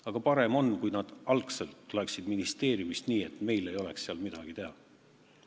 Aga parem oleks, kui nad tuleksid juba algselt ministeeriumist nii, et meil ei oleks seal midagi teha.